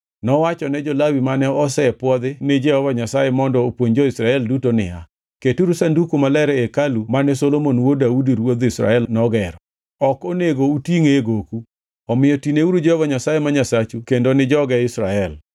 Nowachone jo-Lawi mane osepwodhi ni Jehova Nyasaye mondo opuonj jo-Israel duto niya, “Keturu Sanduku Maler e hekalu mane Solomon wuod Daudi ruodh Israel nogero. Ok onego utingʼe e goku. Omiyo tineuru Jehova Nyasaye ma Nyasachu kendo ni joge Israel.